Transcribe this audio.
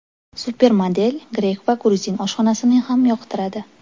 Supermodel grek va gruzin oshxonasini ham yoqtiradi.